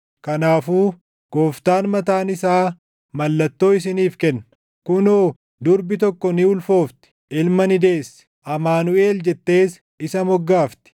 Kanaafuu Gooftaan mataan isaa mallattoo isiniif kenna: Kunoo durbi tokko ni ulfoofti; ilma ni deessi; Amaanuʼel jettees isa moggaafti.